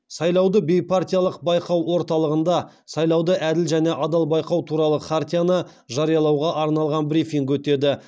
сайлауды бейпартиялық байқау орталығында сайлауды әділ және адал байқау туралы хартияны жариялауға арналған брифинг өтеді